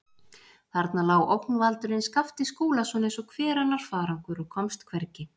Þarna lá ógnvaldurinn Skapti Skúlason eins og hver annar farangur og komst hvergi.